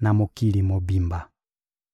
na mokili mobimba.